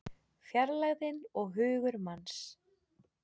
Fjarlægðin og hugur manns